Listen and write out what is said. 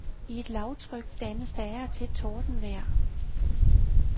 I et lavtryk dannes der af og til tordenvejr.